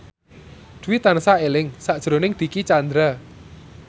Dwi tansah eling sakjroning Dicky Chandra